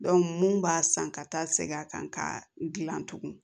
mun b'a san ka taa segin a kan ka gilan tugun